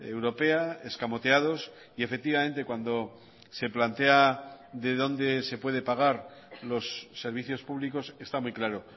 europea escamoteados y efectivamente cuando se plantea de dónde se puede pagar los servicios públicos está muy claro